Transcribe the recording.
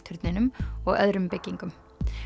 turninum og öðrum byggingum